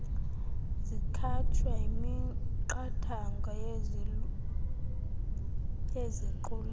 zikhatshwa yimiqathango yeziqulathi